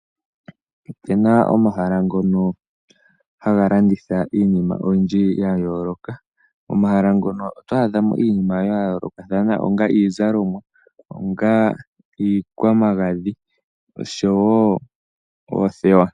Opuna omahala ngoka haga landitha iinima oyindji yayooloka, momahala ngoka oto adha mo iinima yayoolokathana onga iizalomwa, onga iikwagadhi osho wo oothewa